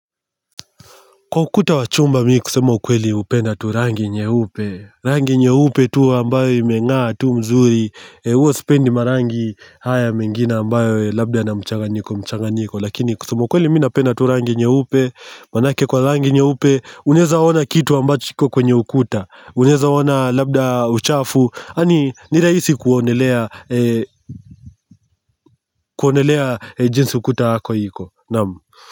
Kwa ukuta wa chumba mi kusema ukweli hupenda tu rangi nyeupe rangi nyeupe tu ambayo imengaa tu mzuri huwa sipendi marangi haya mengine ambayo labda yanamchanganyiko mchanganyiko lakini kusema ukweli mi napenda tu rangi nyeupe manake kwa rangi nyeupe unezaona kitu ambacho iko kwenye ukuta unaeza ona labda uchafu yani ni rahisi kuonelea kuonelea jinsi ukuta wako iko naam.